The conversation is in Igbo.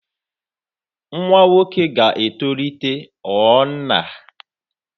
Nwa nwoke ga-etolite ghọọ nna.